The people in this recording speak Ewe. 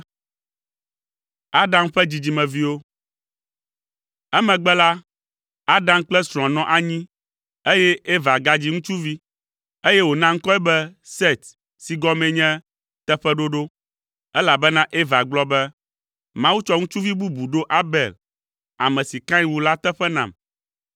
Emegbe la, Adam kple srɔ̃a nɔ anyi eye Eva gadzi ŋutsuvi, eye wòna ŋkɔe be Set si gɔmee nye “Teƒeɖoɖo,” elabena Eva gblɔ be, “Mawu tsɔ ŋutsuvi bubu ɖo Abel, ame si Kain wu la teƒe nam.”